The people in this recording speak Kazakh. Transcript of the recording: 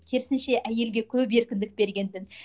керісінше әйелге көп еркіндік берген дін